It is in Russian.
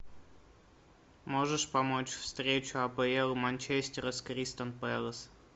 можешь помочь встречу апл манчестера с кристал пэлас